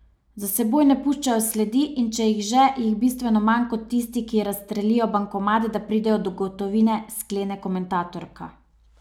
Za seboj ne puščajo sledi in če jih že, jih bistveno manj kot tisti, ki razstrelijo bankomat, da pridejo do gotovine, sklene komentatorka.